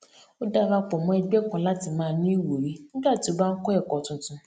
ó dara pò mó ẹgbẹ kan láti maa ní ìwúrí nígbà tí ó bá n kọ ẹkọ tuntun